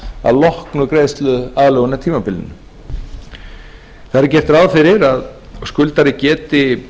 að loknu greiðsluaðlögunartímabilinu þar er gert ráð fyrir að skuldari geti